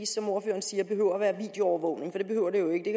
som ordføreren siger behøver at være videoovervågning det behøver det jo ikke det